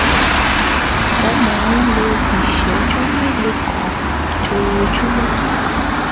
ó máa ń lo ìṣẹ́jú mélòó kan lójoojúmọ́